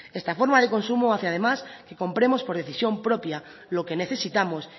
esta forma de consumo hace además que compremos por decisión propia lo que necesitamos